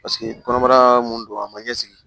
Paseke kɔnɔbara mun don a ma ɲɛsigi